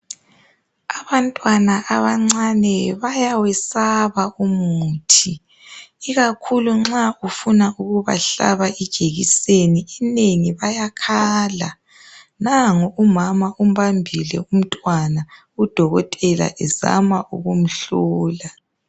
Abantwana abancane bayawesaba umuthi ikakhulu nxa ufuna ukubahlaba ijekiseni inengi bayakhala nangu umama umbambile umntwana udokotela ezama ukumhlola